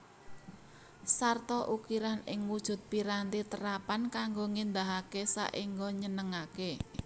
Sarta ukiran ing wujud piranti terapan kanggo ngéndahaké saéngga nyenengaké